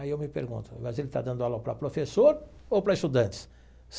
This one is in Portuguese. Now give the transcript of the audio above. Aí eu me pergunto, mas ele está dando aula para professor ou para estudantes?